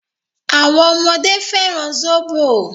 Àwọn ọmọdé fẹ́ràn sóbò.